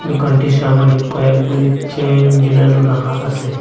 দুকানটির সামোনে কয়েকগুলি চেইন জুলানো রাখা আসে।